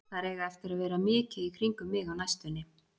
Þær eiga eftir að vera mikið í kringum mig á næstunni.